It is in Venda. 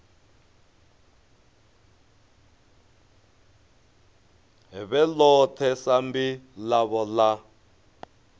vhe ḽone sambi ḽavho ḽa